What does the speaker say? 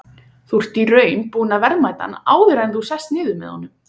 Þú ert í raun búinn að verðmeta hann áður en þú sest niður með honum?